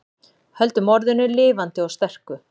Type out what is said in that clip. Höldum orðinu lifandi og sterku